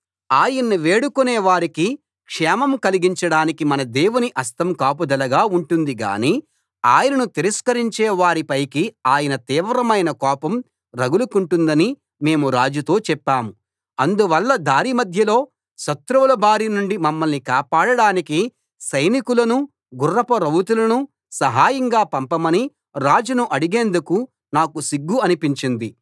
ఆయన్ను వేడుకునే వారికి క్షేమం కలిగించడానికి మన దేవుని హస్తం కాపుదలగా ఉంటుంది గానీ ఆయనను తిరస్కరించే వారి పైకి ఆయన తీవ్రమైన కోపం రగులుకొంటుందని మేము రాజుతో చెప్పాం అందువల్ల దారి మధ్యలో శత్రువుల బారి నుండి మమ్మల్ని కాపాడడానికి సైనికులను గుర్రపు రౌతులను సహాయంగా పంపమని రాజును అడిగేందుకు నాకు సిగ్గు అనిపించింది